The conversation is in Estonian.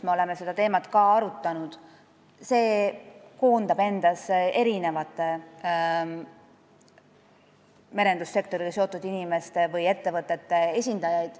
Me oleme seda teemat arutanud ka Merendusnõukojas, mis koondab endas merendussektoriga seotud inimeste või ettevõtete esindajaid.